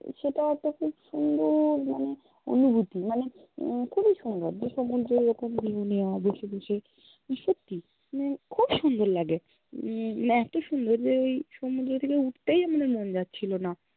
সেটা একটা খুব সুন্দর মানে অনুভুতি মানে উহ খুবই সুন্দর, যে সমূদ্রর এরকম view নেওয়া বসে-বসে সত্যি মানে খুব সুন্দর লাগে, উম এত সুন্দর যে ওই সমূদ্র থেকে উঠতেই আমাদের মন যাচ্ছিলো না